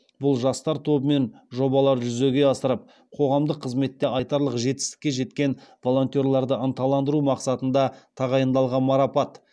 бұл жастар тобымен жобаларды жүзеге асырып қоғамдық қызметте айтарлық жетістікке жеткен волонтерларды ынталандыру мақсатында тағайындалған марапат